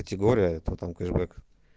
категория то там кэшбэк